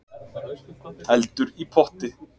Eldur í potti